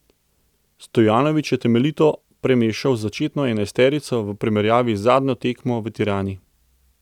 Stojanović je temeljito premešal začetno enajsterico v primerjavi z zadnjo tekmo v Tirani.